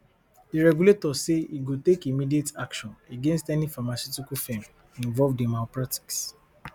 di regulator say e go take immediate action against any pharmaceutical firm involved in malpractice